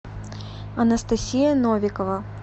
анастасия новикова